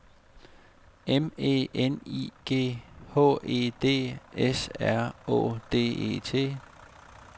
M E N I G H E D S R Å D E T